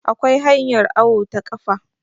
akwai hanyar awo ta kafa